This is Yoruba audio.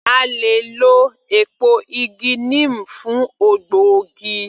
A le è lọ èpo igi neem fún ògbógi